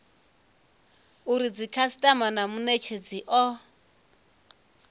uri dzikhasitama na munetshedzi o